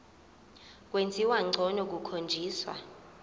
kwenziwa ngcono kukhonjiswa